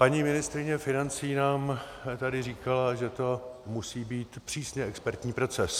Paní ministryně financí nám tady říkala, že to musí být přísně expertní proces.